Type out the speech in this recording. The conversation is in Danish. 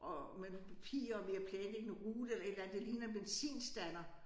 Og med nogle papirer og ved at planlægge en rute eller et eller andet det ligner en benzinstander